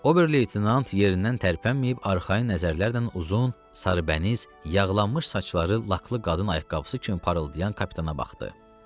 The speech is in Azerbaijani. Ober-leytenant yerindən tərpənməyib arxayın nəzərlərlə uzun, sarıbəniz, yadlanmış saçları laklı qadın ayaqqabısı kimi parıldayan kapitana baxdı.